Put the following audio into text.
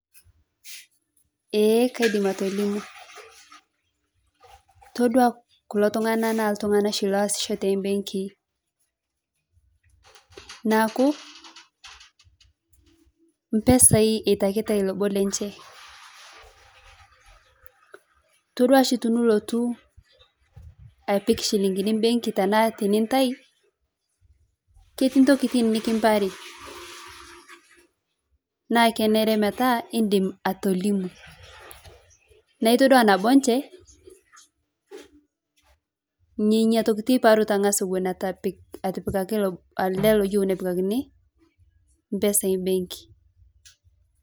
Eeeh kadim atolimu, todua kuloo tung'ana naa tung'ana waasisho teembenkii, naaku mpesai itakitai loboo lenchee toduashii tonulotu apik shilingini mbenki tanaa tinitai ketii ntokin nikiparii naa keneree metaa idim atolimu naa itodua naboeche nenia tokit eiparuta ng'as oun etepik etepikaki ale loyiu nepikakin mpesai mbeki.